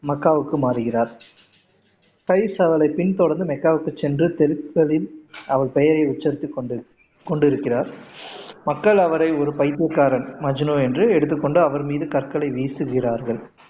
மக்காவுக்கு மாறுகிறார் கைஸ் அவளை பின்தொடர்ந்து மக்காவுக்கு சென்று தெருக்களில் அவள் பெயரை உச்சரித்துக் கொண்டு கொண்டு இருக்கிறார் மக்கள் அவரை ஒரு பைத்தியகாரன் மஜ்னு என்று எடுத்துக்கொண்டு அவர் மீது கற்களை வீசுகிறார்கள்